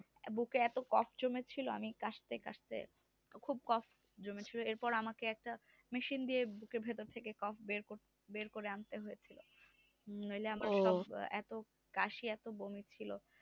বুকে এত cough জমে ছিল খুব কফ জমে ছিল এরপর আমাকে একটা মেশিন দিয়ে বুকের ভেতর থেকে কফ বের করতে হল নইলে আমার এত কাশি